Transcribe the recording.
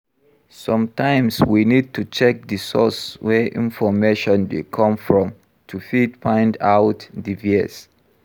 Sometimes we need to check di source wey information dey come from to fit find out di bias